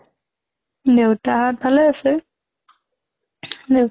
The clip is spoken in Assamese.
দেউতা হঁত ভালে আছে। দেউতা